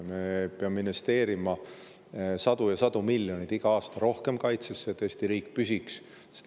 Me peame investeerima iga aasta sadu ja sadu miljoneid rohkem kaitsesse, et Eesti riik püsiks.